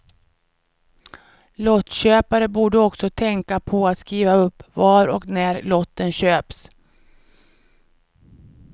Lottköpare borde också tänka på att skriva upp var och när lotten köps.